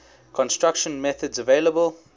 construction methods available